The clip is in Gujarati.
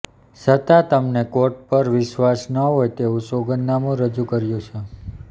છતાં તમને કોર્ટ પર વિશ્વાસ ન હોય તેવું સોગંધનામું રજૂ કર્યું છે